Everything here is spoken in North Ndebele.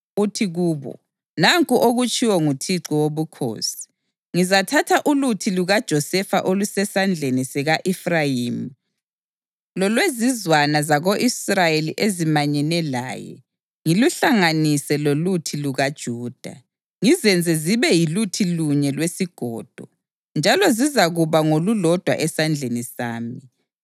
uthi kubo, ‘Nanku okutshiwo nguThixo Wobukhosi: Ngizathatha uluthi lukaJosefa olusesandleni sika-Efrayimi lolwezizwana zako-Israyeli ezimanyene laye, ngiluhlanganise loluthi lukaJuda, ngizenze zibe yiluthi lunye lwesigodo, njalo zizakuba ngolulodwa esandleni sami.’